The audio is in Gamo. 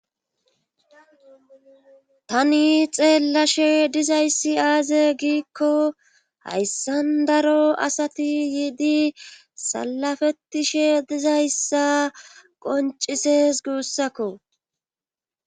tani xeellashe dizayssi aaze giikko hayssan daro asati yiidi salafettishe dizayssa qoncises guussakko